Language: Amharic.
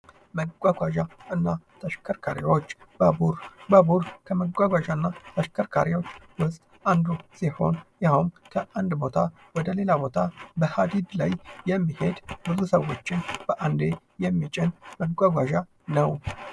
መጓጓዣ እና ተሽከርካሪዎች። ባቡር ፡ ባቡር ከመጓጓዣ እና ተሽከርካሪዎች ውስጥ አንዱ ሲሆን ይህውም ከአንድ ቦታ ወደ ሌላ ቦታ በሀዲድ ላይ የሚሄድ ብዙ ሰዎችን በአንዴ የሚጭን መጓጓዣ ነው ።